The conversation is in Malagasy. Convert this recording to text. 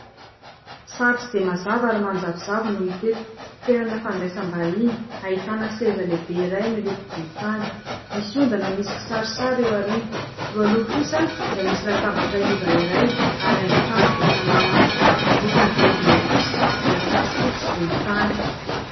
sary tsy dia mazava ary manjavozavo no hita eto ;toerana fandraisam-bahiny ahitana seza lehibe iray miloko volontany; nisy ondana misy kisarisary eo aoriana, eo aloha kosa dia misy latabatra iva ray ary haingon-trano vita amin'ny hazo ,ny lokon' ny gorodona kosa dia fotsifotsy sy volontany